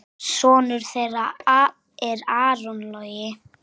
Sonur þeirra er Aron Logi.